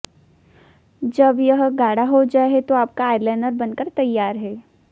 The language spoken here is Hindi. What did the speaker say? जब यह गाढ़ा हो जाए तो आपका आईलाइनर बनकर तैयार है